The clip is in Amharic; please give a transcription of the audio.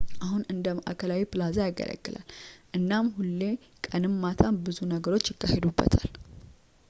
አሁን እንደ መዓከላዊ ፕላዛ ያገለግላል እናም ሁሌ ቀንም ማታም ብዙ ነገሮች ይካሄዱበታል